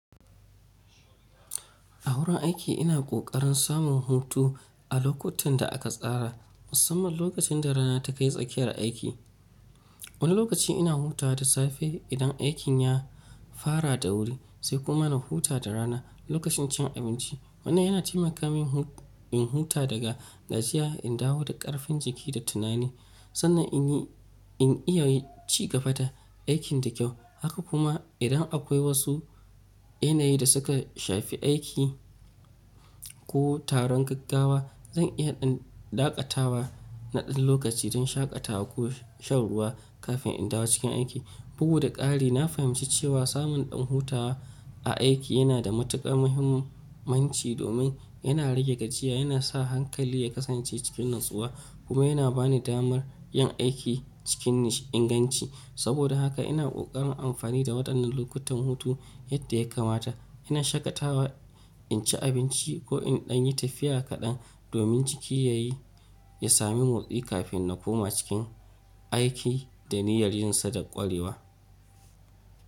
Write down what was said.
A wurin aiki ina ƙoƙarin samun hutu a lokutan da aka tsara, musamman lokacin da rana ta kai tsakiyar aiki. Wani lokaci ina hutawa da safe idan aikin ya fara da wuri, sai kuma na huta da rana lokacin cin abinci. Wannan yana taimaka min in huta daga gajiya, in dawo da ƙarfin jiki da tunani, sannan in iya cigaba da aikin da kyau. Haka kuma, idan akwai wasu yanayi da suka shafi aiki ko taron gaggawa, zan iya in dakatawa na ɗan lokaci don shakatawa ko shan ruwa kafin in dawo cikin aiki. Bugu da ƙari, na fahimci cewa samun ɗan hutawa a aiki yana da matuƙar muhimmanci domin yana rage gajiya, yana sa hankali ya kasance cikin natsuwa, kuma yana ba ni damar yin aiki cikin inganci. Saboda haka ina ƙoƙarin amfani da waɗannan lokutan hutu yadda ya kamata. Ina shakatawa, in ci abinci ko in ɗan yi tafiya kaɗan domin jiki ya sami motsi kafin na koma cikin aiki da niyyar yin sa da ƙwarewa.